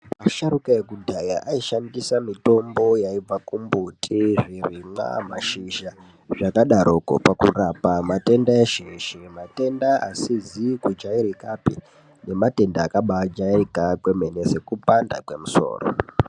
Asharuka ekudhaya aishandisa mitombo yaibva kumbuti, zvirimwa mashizha zvakadaroko pakurapa matenda eshe eshe, matenda asizi kujairikapi nematenda akabaa jairika kwemene sekupanda kwemusoro.